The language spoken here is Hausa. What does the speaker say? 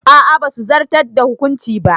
A'a basu zartar da hukuncin ba.